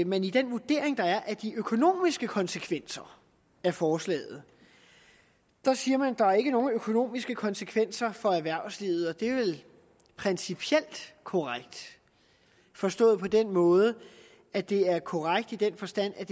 man i den vurdering der er af de økonomiske konsekvenser af forslaget siger at der ikke er nogen økonomiske konsekvenser for erhvervslivet det er vel principielt korrekt forstået på den måde at det er korrekt i den forstand at